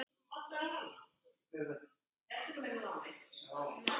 efnið fannst fyrst.